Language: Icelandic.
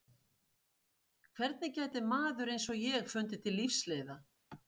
Hvernig gæti maður eins og ég fundið til lífsleiða?